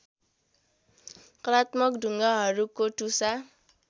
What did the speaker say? कलात्मक ढुङ्गाहरूको टुसा